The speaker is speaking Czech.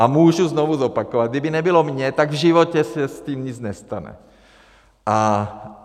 A můžu znovu zopakovat, kdyby nebylo mě, tak v životě se s tím nic nestane.